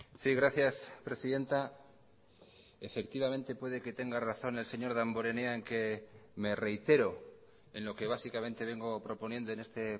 sí gracias presidenta efectivamente puede que tenga razón el señor damborenea en que me reitero en lo que básicamente vengo proponiendo en este